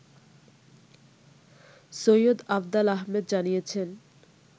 সৈয়দ আফদাল আহমেদ জানিয়েছেন